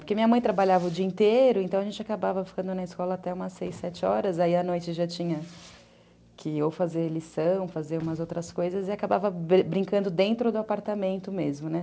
Porque minha mãe trabalhava o dia inteiro, então a gente acabava ficando na escola até umas seis, sete horas, aí à noite já tinha que ou fazer lição, fazer umas outras coisas e acabava brincando dentro do apartamento mesmo, né?